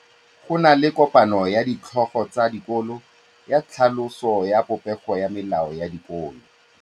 Go na le kopanô ya ditlhogo tsa dikolo ya tlhaloso ya popêgô ya melao ya dikolo.